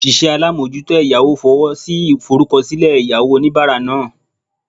Osise alamojuto eyawo fowosi iforukosile eyawo onibara naa